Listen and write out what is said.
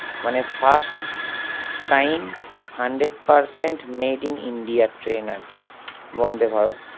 মানে first sign hundred percent made in India train আরকি বন্ধে ভারত